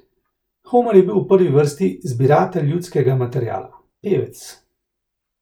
Homer je bil v prvi vrsti zbiratelj ljudskega materiala, pevec.